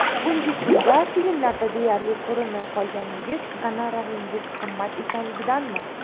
Bugungi kunda filmlarda deyarli ko‘rinmay qolganingiz gonoraringiz qimmat ekanligidanmi?